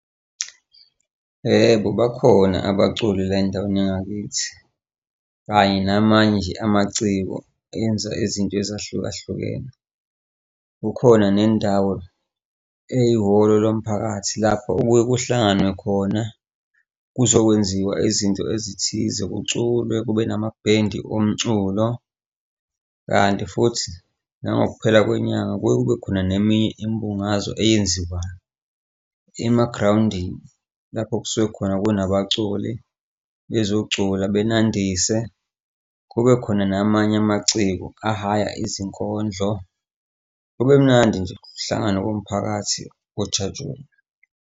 Yebo, bakhona abaculi la endaweni yangakithi. Kanye namanye nje amaciko enza izinto ezahlukahlukene. Kukhona nendawo eyihholo lomphakathi lapho okuye kuhlanganwe khona kuzokwenziwa izinto ezithize kuculwe kube namabhendi omculo, kanti futhi nangokuphela kwenyanga kuye kube khona neminye imbungazo eyenziwayo, emagrawundini lapho kusuke khona kunabaculi bezocula benandise, kube khona namanye amaciko ahaya izinkondlo, kube mnandi nje kuhlanganwe kuwumphakathi kujatshulelwe.